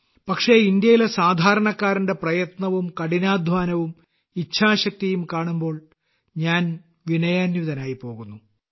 പക്ഷേ ഇന്ത്യയിലെ സാധാരണക്കാരന്റെ പ്രയത്നവും കഠിനാധ്വാനവും ഇച്ഛാശക്തിയും കാണുമ്പോൾ ഞാൻ വിനയാന്വിതനായി പോകുന്നു